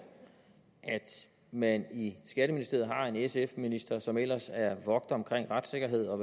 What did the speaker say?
at man i skatteministeriet har en sf minister som ellers vogter om retssikkerheden og